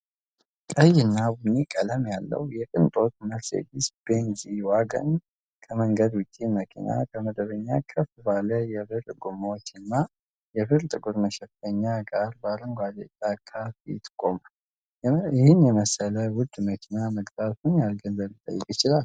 ቀይና ቡኒ ቀለም ያለው የቅንጦት መርሴዲስ ቤንዝ ጂ-ዋገን ከመንገድ ውጪ መኪና፣ ከመደበኛው ከፍ ባለ የብር ጎማዎች እና የብር-ጥቁር መሸፈኛ ጋር በአረንጓዴ ጫካ ፊት ቆሟል። የመሰለ ውድ መኪና መግዛት ምን ያህል ገንዘብ ሊጠይቅ ይችላል?